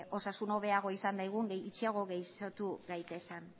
osasun hobeagoa izan daigun gutxiago gaixotu gaitezan